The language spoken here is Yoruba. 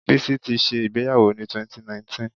Bísí ti ṣẹ ìgbéyàwó ni 2019.